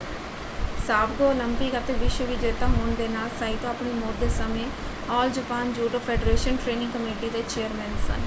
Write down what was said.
ਸਾਬਕਾ ਓਲੰਪਿਕ ਅਤੇ ਵਿਸ਼ਵ ਵਿਜੇਤਾ ਹੋਣ ਦੇ ਨਾਲ ਸਾਈਤੋ ਆਪਣੀ ਮੌਤ ਦੇ ਸਮੇਂ all Japan judo federation training committee ਦੇ ਚੇਅਰਮੈਨ ਸਨ।